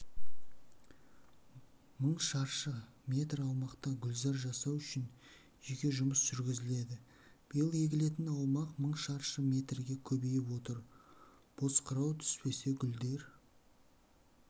мың шаршы метр аумақта гүлзар жасау үшін жеке жұмыс жүргізіледі биыл егілетін аумақ мың шаршы метрге көбейіп отыр бозқырау түспесе гүлдер